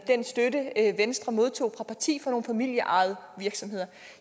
den støtte venstre modtager fra nogle familieejede virksomheder